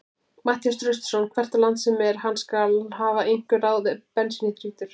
Matthías Traustason hvert á land sem er, hann skal hafa einhver ráð ef bensínið þrýtur.